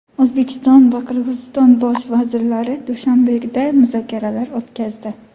O‘zbekiston va Qirg‘iziston bosh vazirlari Dushanbeda muzokaralar o‘tkazdi.